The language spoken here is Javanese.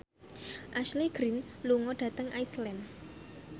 Ashley Greene lunga dhateng Iceland